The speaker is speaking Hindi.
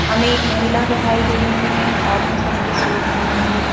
हमें एक महिला दिखाई दे रही हैं ऑरेंज रंग के सूट पहने हुए.